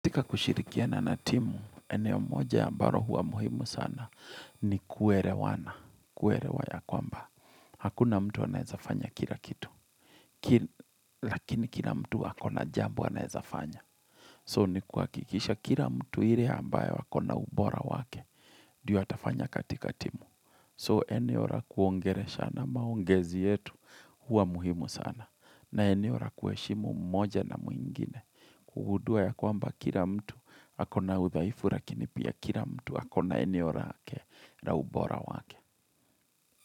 Katika kushirikiana na timu, eneo moja ambalo huwa muhimu sana ni kuerewana, kuerewa ya kwamba. Hakuna mtu anaweza fanya kila kitu, lakini kila mtu akona jambuo anaezafanya. So, ni kuhakikisha kila mtu ile ambayo akona ubora wake, ndio atafanya katika timu. So, eneo ra kuongeleshana na maongezi yetu huwa muhimu sana, na eneo rakuweshimu mmoja na mwengine. Kugudua ya kwamba kila mtu akona udhaifu lakini pia kila mtu akona eneo lake la ubora wake.